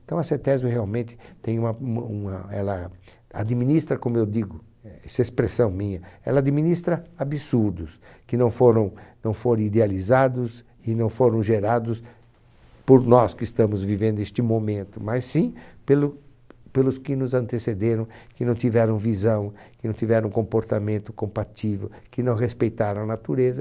Então a cetésio realmente tem uma uma uma, ela administra, como eu digo, isso é expressão minha, ela administra absurdos que não foram, não foram idealizados e não foram gerados por nós que estamos vivendo neste momento, mas sim pelos que nos antecederam, que não tiveram visão, que não tiveram comportamento compatível, que não respeitaram a natureza.